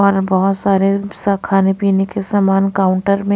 और बहुत सारे खाने पीने के समान काउंटर में--